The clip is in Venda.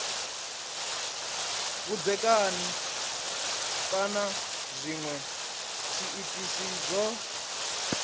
vhudzekani kana zwinwe zwiitisi zwo